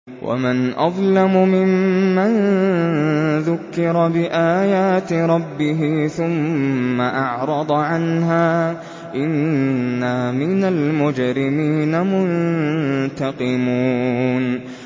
وَمَنْ أَظْلَمُ مِمَّن ذُكِّرَ بِآيَاتِ رَبِّهِ ثُمَّ أَعْرَضَ عَنْهَا ۚ إِنَّا مِنَ الْمُجْرِمِينَ مُنتَقِمُونَ